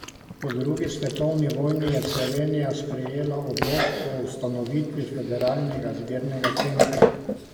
Po drugi svetovni vojni je Slovenija sprejela odlok o ustanovitvi Federalnega zbirnega centra.